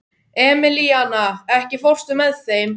Emilíana, ekki fórstu með þeim?